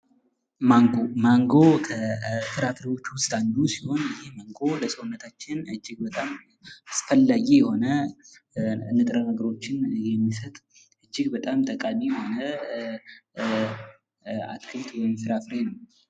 ማንጎ፡-ማንጎ ከፍራፍሬዎች ውስጥ አንዱ ሲሆን ይህ ማንጎ ለሰውነታችን እጅግ በጣም አስፈላጊ የሆነ ንጥረ ነገሮችን የሚሰጥ እጅግ በጣም ጠቃሚ የሆነ አትክልት ወይም ፍራፍሬ ነው ።